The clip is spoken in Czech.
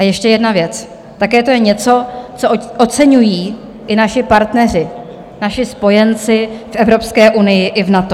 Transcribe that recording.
A ještě jedna věc, také to je něco, co oceňují i naši partneři, naši spojenci v Evropské unii i v NATO.